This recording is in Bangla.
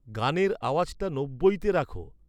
গানের আওয়াজটা নব্বইতে রাখো